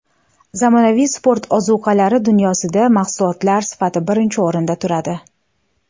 Zamonaviy sport ozuqalari dunyosida mahsulot sifati birinchi o‘rinda turadi.